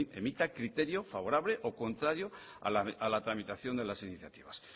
emita criterios favorable o contrario a la tramitación de las iniciativas